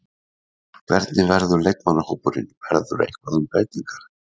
Hvernig verður leikmannahópurinn, verður eitthvað um breytingar?